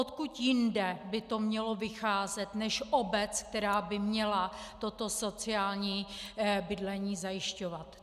Odkud jinde by to mělo vycházet než obec, která by měla toto sociální bydlení zajišťovat.